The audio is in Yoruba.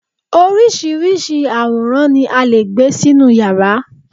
oríṣiríṣi àwòrán ni a lè gbé sínú yàrá